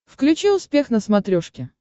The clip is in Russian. включи успех на смотрешке